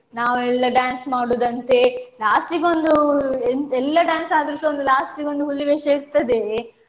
ನಾವ್ ಎಲ್ಲ dance ಮಾಡುದಂತೆ last ಗೆ ಒಂದು ಎಂತ ಎಲ್ಲ dance ಆದ್ರು ಸಹ last ಗೆ ಒಂದು ಹುಲಿ ವೇಷ ಇರ್ತದೆಯೇ